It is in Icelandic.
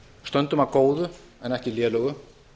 stöndum að góðu en ekki lélegu